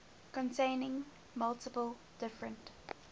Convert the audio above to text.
containing multiple different